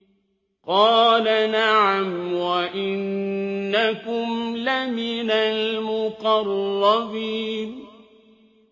قَالَ نَعَمْ وَإِنَّكُمْ لَمِنَ الْمُقَرَّبِينَ